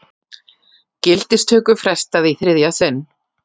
Gildistöku frestað í þriðja sinn